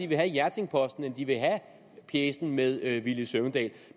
vil have hjerting posten end de vil have pjecen med herre villy søvndal